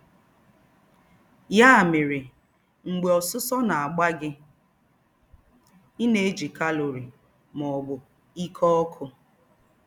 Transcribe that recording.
Ya mere, mgbe ọsụsọ na-agba gị, ị na-eji calorie, ma ọ bụ ike ọkụ.